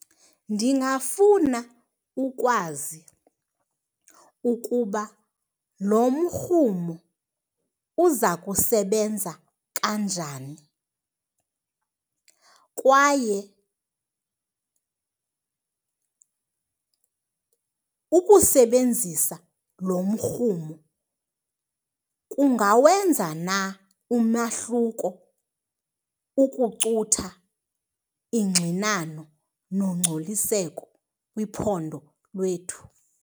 Ndingafuna ukwazi ukuba lo mrhumo uza kusebenza kanjani kwaye ukusebenzisa lo mrhumo kungawenza na umahluko ukucutha ingxinano nongcoliseko kwiphondo lwethu.